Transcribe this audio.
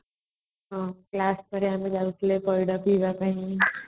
ହଁ class କରିବାକୁ ଯାଉଥିଲେ ପଇଡ ପିଇବା ପାଇଁ